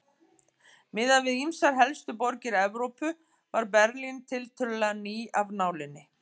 Miðað við ýmsar helstu borgir Evrópu var Berlín tiltölulega ný af nálinni.